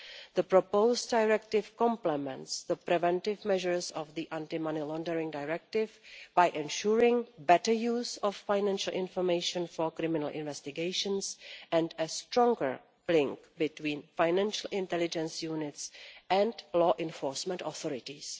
The proposed directive complements the preventive measures of the Anti Money Laundering Directive by ensuring better use of financial information for criminal investigations and a stronger link between financial intelligence units and law enforcement authorities.